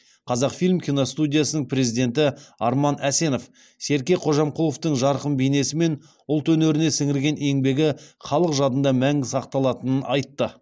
қазақфильм киностудиясының президенті арман әсенов серке қожамқұловтың жарқын бейнесі мен ұлт өнеріне сіңірген еңбегі халық жадында мәңгі сақталатынын айтты